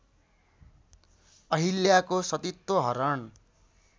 अहिल्याको सतीत्व हरण